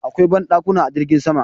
Akwai banɗakuna a jirgin sama.